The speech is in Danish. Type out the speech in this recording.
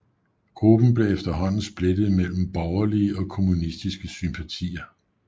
Gruppen blev efterhånden splittet mellem borgerlige og kommunistiske sympatier